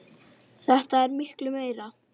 Þetta er miklu meira.